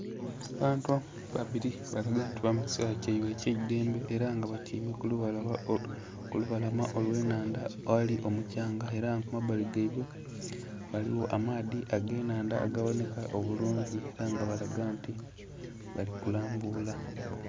Abantu babili balaga nti bali mu kiseera kyaibwe eky'eidhembe ela nga batyaime ku lubalama olw'ennhandha aghali omuthanga. Ela nga ku mabbali giabwe ghaligho amaadhi ag'ennhandha agabonheka obulungi, ela nga balaga nti bali kulambuula.